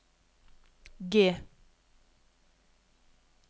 G